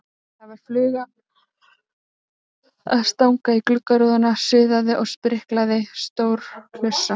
Það var fluga að stanga í gluggarúðuna, suðaði og spriklaði, stór hlussa.